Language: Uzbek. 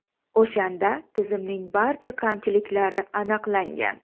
O‘shanda tizimning barcha kamchiliklari aniqlangan.